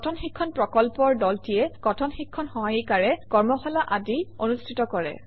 কথন শিক্ষণ প্ৰকল্পৰ দলটিয়ে কথন শিক্ষণ সহায়িকাৰে কৰ্মশালা আদি অনুষ্ঠিত কৰে